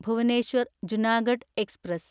Bhubaneswar Junagadh express